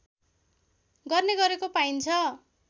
गर्ने गरेको पाइन्छ